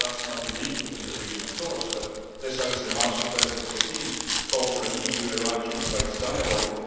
That is not unique within the region, of course, but this House in March 2014 called for an EU-Iran human rights dialogue.